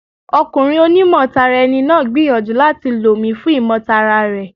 Ọkùnrin oní mọ̀ tara ẹni náà gbìyànjú láti lò mi fún ìmọ̀ tara rẹ̀.